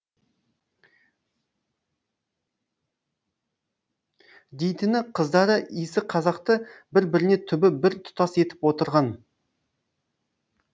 дейтіні қыздары исі қазақты бір біріне түбі бір тұтас етіп отырған